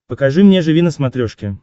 покажи мне живи на смотрешке